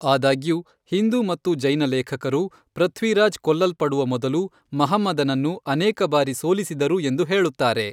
ಆದಾಗ್ಯೂ, ಹಿಂದೂ ಮತ್ತು ಜೈನ ಲೇಖಕರು ಪೃಥ್ವಿರಾಜ್ ಕೊಲ್ಲಲ್ಪಡುವ ಮೊದಲು ಮಹಮ್ಮದನನ್ನು ಅನೇಕ ಬಾರಿ ಸೋಲಿಸಿದರು ಎಂದು ಹೇಳುತ್ತಾರೆ.